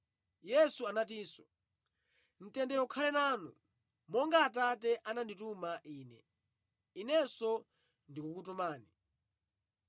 Yesu anatinso, “Mtendere ukhale nanu! Monga Atate anandituma Ine, Inenso ndikukutumani.”